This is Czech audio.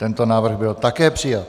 Tento návrh byl také přijat.